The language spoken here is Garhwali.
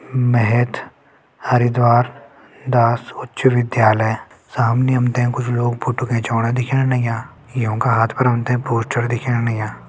महत हरिद्वार दास उच्च विध्यालय सामनि हमते कुछ लोग फोट्टो खिचवाणा दिखेण लग्यां युं का हाथ फर हमते पोस्टर दिखेण लग्यां।